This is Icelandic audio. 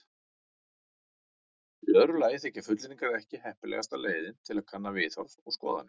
Í öðru lagi þykja fullyrðingar ekki heppilegasta leiðin til að kanna viðhorf og skoðanir.